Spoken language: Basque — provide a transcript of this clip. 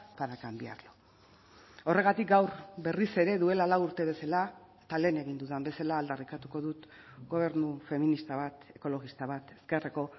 para cambiarlo horregatik gaur berriz ere duela lau urte bezala eta lehen egin dudan bezala aldarrikatuko dut gobernu feminista bat ekologista bat ezkerreko